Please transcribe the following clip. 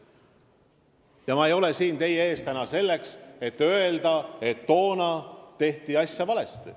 Ja ma ei ole täna siin teie ees selleks, et öelda, et toona tehti asju valesti.